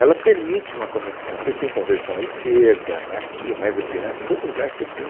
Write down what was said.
Ela permite uma conexão, você tem conversão à esquerda, aqui, mais adiante, em todo lugar você tem.